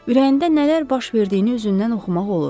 Ürəyində nələr baş verdiyini üzündən oxumaq olurdu.